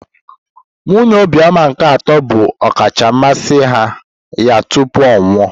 Nwunye Obioma nke atọ bụ ọkacha mmasị ya tupu ọ nwụọ.